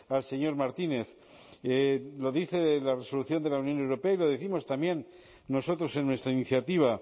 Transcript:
al señor martínez lo dice la resolución de la unión europea y lo décimos también nosotros en nuestra iniciativa